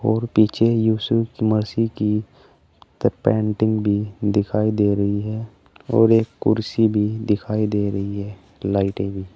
और पीछे यूसुफ मसी की पेंटिंग भी दिखाई दे रही है और एक कुर्सी भी दिखाई दे रही है लाइटिंग --